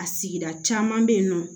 A sigira caman bɛ yen nɔ